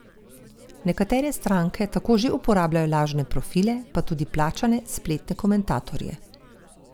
Nekatere stranke tako že uporabljajo lažne profile pa tudi plačane spletne komentatorje.